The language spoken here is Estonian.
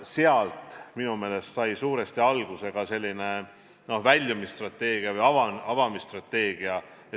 Sealt sai minu meelest suuresti alguse ka väljumisstrateegia või avamisstrateegia.